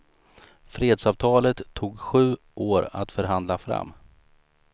Fredsavtalet tog sju år att förhandla fram.